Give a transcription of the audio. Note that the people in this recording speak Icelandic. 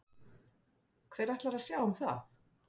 Hver ætlar að sjá um það?